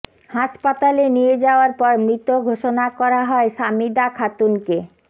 হাসপাতালে নিয়ে যাওয়ার পর মৃত ঘোষণা করা হয় সামিদা খাতুনকে